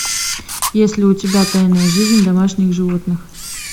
есть ли у тебя тайная жизнь домашних животных